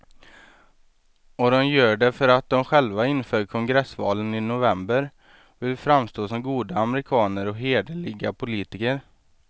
Och de gör det för att de själva inför kongressvalen i november vill framstå som goda amerikaner och hederliga politiker.